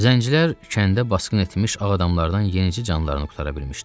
Zəncilər kəndə basqın etmiş ağ adamlardan yenicə canlarını qurtara bilmişdilər.